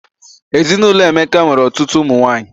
Ezinụlọ Emeka nwere ọtụtụ ụmụ nwanyị